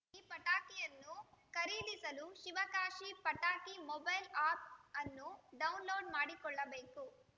ಈ ಪಟಾಕಿಯನ್ನು ಖರೀದಿಸಲು ಶಿವಕಾಶಿ ಪಟಾಕಿ ಮೊಬೈಲ್‌ ಆ್ಯಪ್‌ ಅನ್ನು ಡೌನ್‌ಲೋಡ್‌ ಮಾಡಿಕೊಳ್ಳಬೇಕು